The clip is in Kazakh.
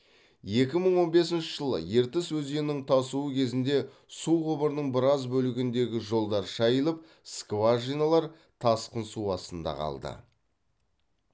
екі мың он бесінші жылы ертіс өзенінің тасуы кезінде су құбырының біраз бөлігіндегі жолдар шайылып скважиналар тасқын су астында қалды